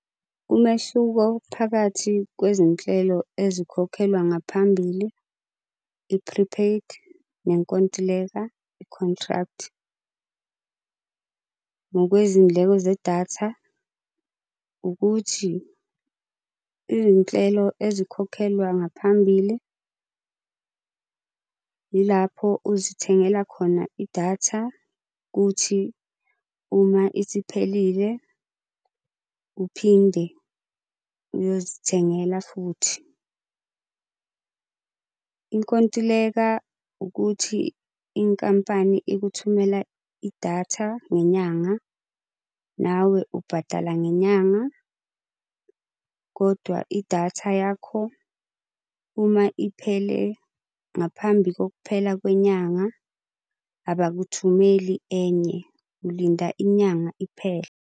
Umehluko phakathi kwezinhlelo ezikhokhelwa ngaphambili, i-prepaid, nenkontileka, i-contract. Ngokwezindleko zedatha ukuthi izinhlelo ezikhokhelwa ngaphambili ilapho uzithengela khona idatha, kuthi uma isiphelile uphinde uyozithengela futhi. Inkontileka ukuthi inkampani ikuthumela idatha ngenyanga, nawe ubhadala ngenyanga. Kodwa idatha yakho uma iphele ngaphambi kokuphela kwenyanga abakuthumeli enye, ulinda inyanga iphele.